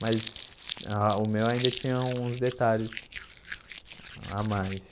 Mas ah o meu ainda tinha uns detalhes a mais.